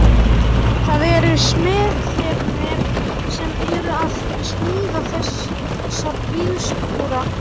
Það eru smiðirnir sem eru að smíða þessa bílskúra.